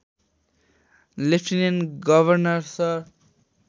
lieutenant governor sir